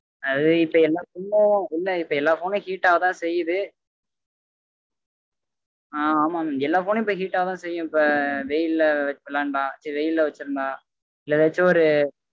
அது இப்போ எல்லா phone உம் உள்ள இருக்க எல்லார் phone உம் heat ஆக தா செயுது ஆமா mam எல்லா phone உம் heat ஆக தா செய்யும் இப்ப வெயில் ல வெச்சு விளையான்டா ச்சி வெயில் ல வெச்சிருந்தா இல்ல எதாச்சும் ஒரு